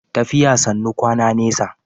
Tafiya sannu kwana nesa.